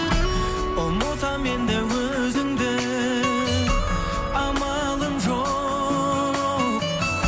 ұмытамын енді өзіңді амалым жоқ